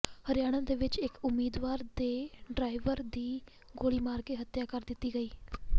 ਹਰਿਆਣਾ ਵਿਚ ਇਕ ਉਮੀਦਵਾਰ ਦੇ ਡਰਾਈਵਰ ਦੀ ਗੋਲੀ ਮਾਰ ਕੇ ਹਤਿਆ ਕਰ ਦਿਤੀ ਗਈ